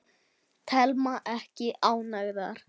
Telma: Ekki ánægðar?